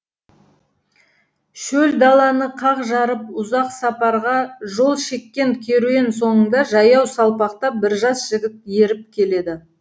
шөл даланы қақ жарып ұзақ сапарға жол шеккен керуен соңында жаяу салпақтап бір жас жігіт еріп келеді